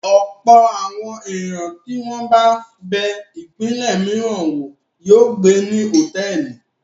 Ọ̀pọ̀ àwọn ènìyàn tí wọ́n bá bẹ ìpínlẹ̀ mìíràn wò yóò gbé ní hòtẹ́ẹ́lì.